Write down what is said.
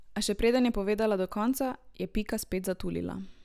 A še preden je povedala do konca, je Pika spet zatulila.